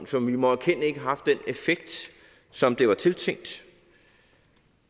som vi må erkende ikke har haft den effekt som det var tiltænkt